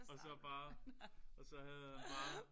Og så bare og så havde han bare